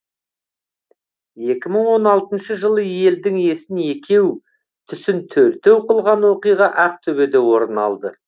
екі мың он алтыншы жылы елдің есін екеу түсін төртеу қылған оқиға ақтөбеде орын алды